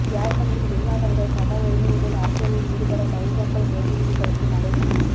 யேர்மனியில் வெளிநாட்டவர்கள் சமவுரிமையுடன் அரசியலில் ஈடுபட தமிழ் மக்கள் பிரதிநிதிகளுக்கும் அழைப்பு